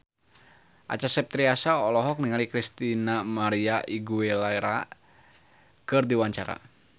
Acha Septriasa olohok ningali Christina María Aguilera keur diwawancara